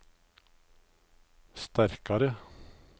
sterkare